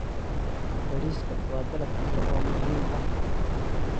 Bariiska waa dalag cunto oo muhiim ah.